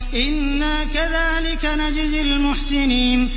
إِنَّا كَذَٰلِكَ نَجْزِي الْمُحْسِنِينَ